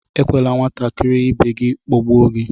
Ekwela nwatakịrị ibe gị kpagbuo gị!